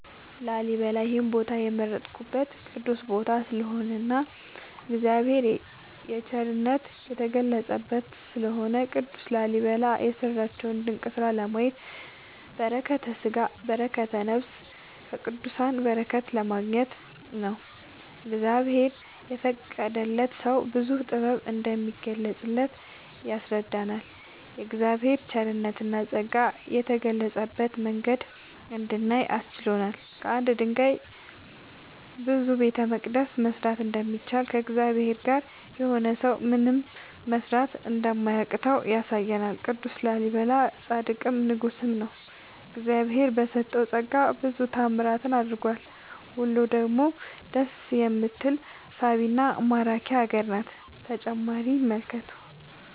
ላሊበላ ይሄን ቦታ የመረጥኩት ቅዱስ ቦታ ስለሆነ እና እግዚአብሔር የቸርነት የተገለፀበት ስለሆነ። ቅዱስ ላሊበላ የሰራቸውን ድንቅ ስራ ለማየት በረከተስጋ በረከተ ነፍስ ከቅዱሳን በረከት ለማግኘት ነው። እግዚአብሔር የፈቀደለት ሰው ብዙ ጥበብ እንደሚገለፅበት ያስረዳናል የእግዚአብሔር ቸርነትና ፀጋ የገለፀበትን መንገድ እንድናይ አስችሎናል። ከአንድ ድንጋይ ብዙ ቤተመቅደስ መስራት እንደሚቻል ከእግዚአብሔር ጋር የሆነ ሰው ምንም መስራት እንደማያቅተው ያሳየናል ቅዱስ ላሊበላ ፃድቅም ንጉስም ነው። እግዚአብሄር በሰጠው ፀጋ ብዙ ታዕምራትን አድርጓል ውሎ ደግሞ ደስ የምትል ሳቢና ማራኪ ሀገር ናት።…ተጨማሪ ይመልከቱ